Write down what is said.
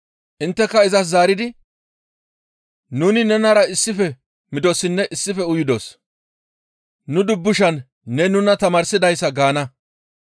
«Intteka izas zaaridi, ‹Nuni nenara issife midossinne issife uyidos; nu dubbushan ne nuna tamaarsadasa› gaana.